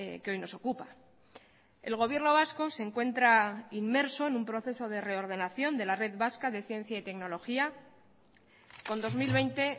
que hoy nos ocupa el gobierno vasco se encuentra inmerso en un proceso de reordenación de la red vasca de ciencia y tecnología con dos mil veinte